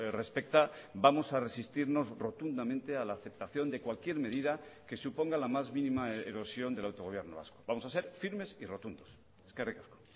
respecta vamos a resistirnos rotundamente a la aceptación de cualquier medida que suponga la más mínima erosión del autogobierno vasco vamos a ser firmes y rotundos eskerrik asko